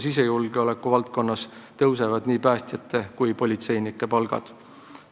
Sisejulgeoleku valdkonnas tõusevad nii päästjate kui politseinike palgad.